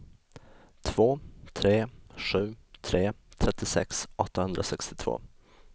två tre sju tre trettiosex åttahundrasextiotvå